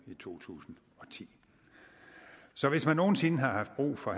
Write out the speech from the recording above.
i to tusind og ti så hvis man nogen sinde haft brug for